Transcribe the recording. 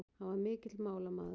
Hann var mikill málamaður.